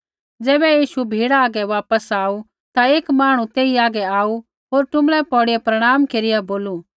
ज़ैबै यीशु भीड़ा हागै वापस आऊ ता एक मांहणु तेई हागै आऊ होर टुँबड़ै पौड़िया प्रणाम केरिया बोलू